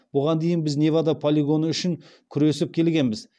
бұған дейін біз невада полигоны үшін күресіп келгенбіз